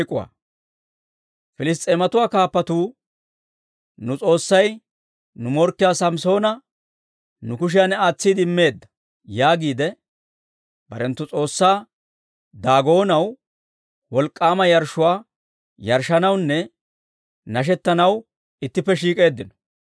Piliss's'eematuwaa kaappatuu, «Nu s'oossay nu morkkiyaa Samssoona nu kushiyan aatsiide immeedda» yaagiide barenttu s'oossaa Daagoonaw wolk'k'aama yarshshuwaa yarshshanawunne nashettanaw ittippe shiik'eeddino.